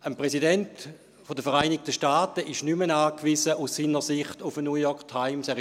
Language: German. Ein Präsident der Vereinigten Staaten ist aus seiner Sicht nicht mehr auf eine «New York Times» angewiesen;